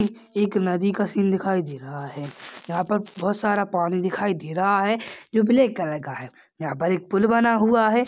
एक नदी का सीन दिखाई दे रहा है यहाँ पर बोहोत सारा पानी दिखाई दे रहा है जो ब्लैक कलर का है यहाँ पर एक पुल बना हुआ है।